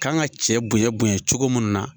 K'an kan ka cɛ bonya bonya cogo munnu na.